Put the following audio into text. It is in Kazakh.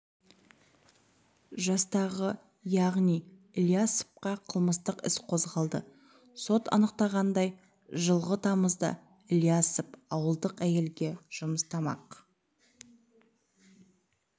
жастағы ғани ілиясовқа қылмыстық іс қозғалды сот анықтағандай жылғы тамызда ілиясов ауылдық әйелге жұмыс тамақ